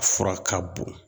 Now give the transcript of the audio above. Fura ka bon.